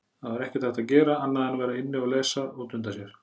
Það var ekkert hægt að gera annað en vera inni, lesa og dunda sér.